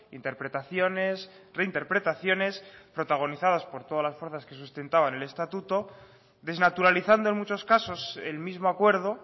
interpretaciones reinterpretaciones protagonizadas por todas las fuerzas que sustentaban el estatuto desnaturalizando en muchos casos el mismo acuerdo